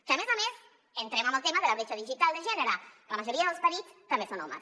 que a més a més entrem en el tema de la bretxa digital de gènere la majoria dels perits també són homes